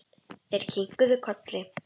Þeir kinkuðu kolli.